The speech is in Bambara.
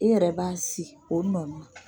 E yɛrɛ b'a sin o nɔnin na.